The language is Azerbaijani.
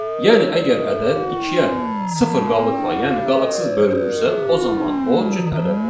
Yəni əgər ədəd ikiyə sıfır qalıqla, yəni qalıqsız bölünürsə, o zaman o cüt ədəddir.